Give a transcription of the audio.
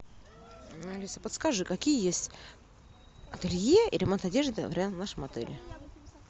алиса подскажи какие есть ателье и ремонт одежды в нашем отеле